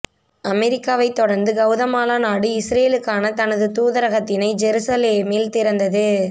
அமெரிக்காவை தொடர்ந்து கவுதமாலா நாடு இஸ்ரேலுக்கான தனது தூதரகத்தினை ஜெருசலேமில் திறந்தது